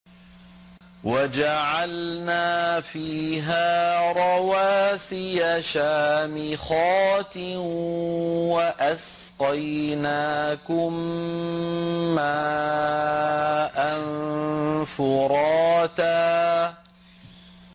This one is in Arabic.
وَجَعَلْنَا فِيهَا رَوَاسِيَ شَامِخَاتٍ وَأَسْقَيْنَاكُم مَّاءً فُرَاتًا